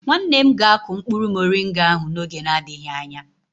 Nwanne m ga-akụ mkpụrụ moringa ahụ n'oge na-adịghị anya.